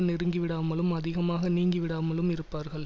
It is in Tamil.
நெருங்கிவிடாமலும் அதிகமாக நீங்கிவிடாமலும் இருப்பார்கள்